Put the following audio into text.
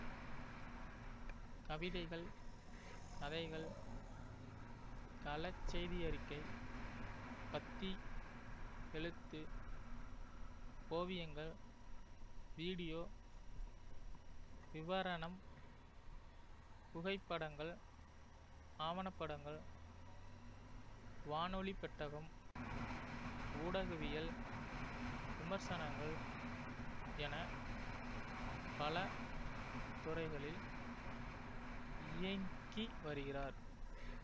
கவிதைகள் கதைகள் களச்செய்தியறிக்கை பத்தி எழுத்து ஓவியங்கள் வீடியோ விவரணம் புகைப்படங்கள் ஆவணப்படங்கள் வானொலிப்பெட்டகம் ஊடகவியல் விமர்சனங்கள் என பல துறைகளில் இயங்கி வருகிறார்